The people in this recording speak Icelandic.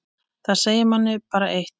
Það segir manni bara eitt.